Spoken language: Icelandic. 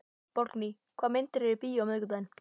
Borgný, hvaða myndir eru í bíó á miðvikudaginn?